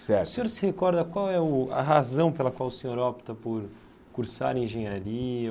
Certo O senhor se recorda qual é o a razão pela qual o senhor opta por cursar engenharia?